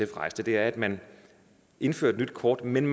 rejst er at man indfører et nyt kort men